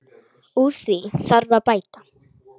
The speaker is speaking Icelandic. Úr því þarf að bæta.